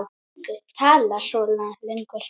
Enginn talar svona lengur.